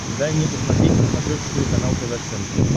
дай мне посмотреть на смотрешке телеканал тв центр